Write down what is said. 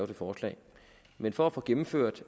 forslag men for at få gennemført